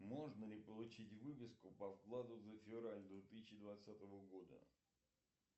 можно ли получить выписку по вкладу за февраль две тысячи двадцатого года